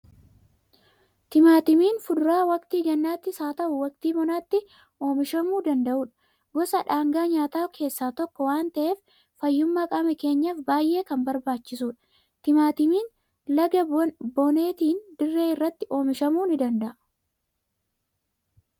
Timaatimiin fuduraa waqtii gannaattis haa ta'u, waqtii bonaatti oomishamuu danda'udha. Gosa dhaangaa nyaataa keessaa tokko waan ta'eef, fayyummaa qaama keenyaaf baay'ee kan barbaachisudha. Timmatimiin laga boneetiin dirree irratti oomishamuu ni danda'aa?